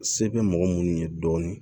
Se bɛ mɔgɔ minnu ye dɔɔnin